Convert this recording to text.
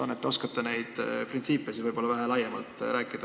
Vahest oskate neid printsiipe vähe laiemalt tutvustada?